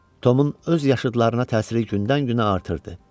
Tomun öz yaşıdlarına təsiri gündən-günə artırdı.